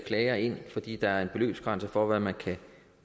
klager ind fordi der er en beløbsgrænse for hvad man kan